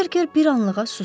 Berker bir anlığa susdu.